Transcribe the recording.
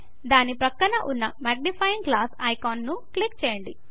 దాని ప్రక్కన ఉన్న మాగ్నిఫయింగ్ గ్లాస్ భూతద్దం ఐకాన్ను క్లిక్ చేయండి